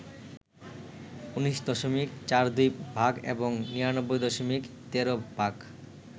১৯.৪২% এবং ৯৯.১৩%